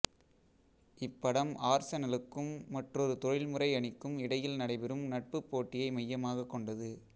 இப்படம் ஆர்செனலுக்கும் மற்றொரு தொழில்முறை அணிக்கும் இடையில் நடைபெறும் நட்புப் போட்டியை மையமாகக் கொண்டது